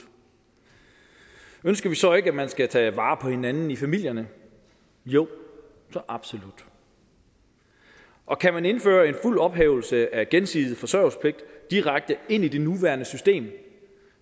ønsker vi så ikke at man skal tage vare på hinanden i familierne jo så absolut og kan man indføre en fuld ophævelse af den gensidige forsørgelsespligt direkte i det nuværende system